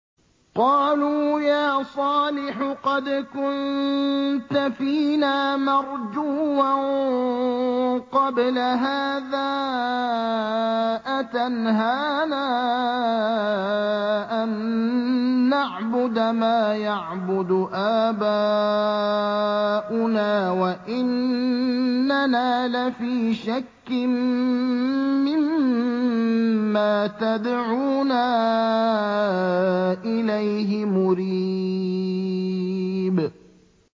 قَالُوا يَا صَالِحُ قَدْ كُنتَ فِينَا مَرْجُوًّا قَبْلَ هَٰذَا ۖ أَتَنْهَانَا أَن نَّعْبُدَ مَا يَعْبُدُ آبَاؤُنَا وَإِنَّنَا لَفِي شَكٍّ مِّمَّا تَدْعُونَا إِلَيْهِ مُرِيبٍ